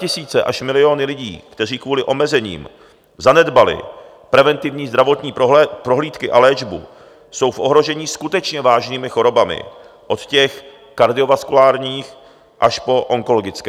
Statisíce až miliony lidí, kteří kvůli omezením zanedbali preventivní zdravotní prohlídky a léčbu, jsou v ohrožení skutečně vážnými chorobami, od těch kardiovaskulárních až po onkologické.